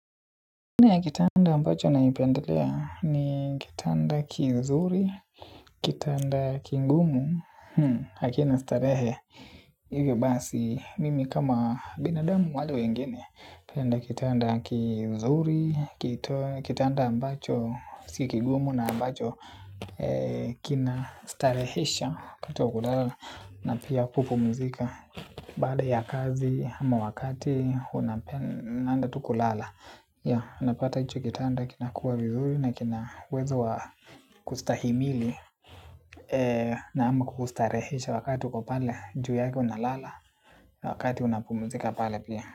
Aina ya kitanda ambacho naipendelea ni kitanda kizuri, kitanda kigumu, hakina starehe. Hivyo basi, mimi kama binadamu wale wengine napenda kitanda kizuri, kitanda ambacho, si kigumu na ambacho kinastarehesha Kato kulala na pia kupumzika baada ya kazi ama wakati, unapenda tu kulala napata hicho kitanda kina kuwa vizuri na kina uwezo wa kustahimili. Na ama kukustarehesha wakati uko pale juu yake unalala wakati unapumzika pale pia.